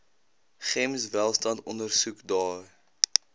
gems welstand ondersoekdae